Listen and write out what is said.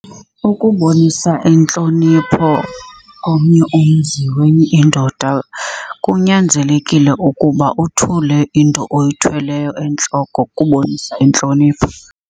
Ukubonisa intlonipho komnye umzi wenye indoda kunyanzelekile ukuba uthule into oyithweleyo entloko ukubonisa intlonipho.